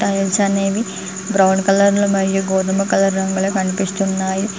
Tiles అనేవి brown కలర్లో మరియు గోధుమ కలర్ రంగులో కనిపిస్చున్నాయి .